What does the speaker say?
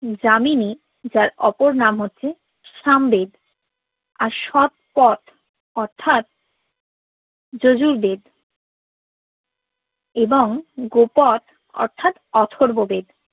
যামিনি যার অপর নাম হচ্ছে সাম বেদ আর সব কথার যজু বেদ এবং গোপোদ অর্থাৎ অথর্ব বেদ